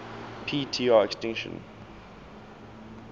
p tr extinction